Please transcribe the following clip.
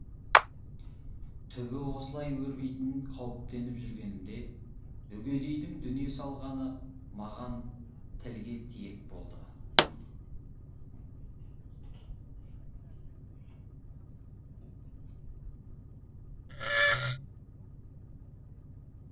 түбі осылай өрбитінін қауіптеніп жүргенімде үгедейдің дүние салғаны маған тілге тиек болды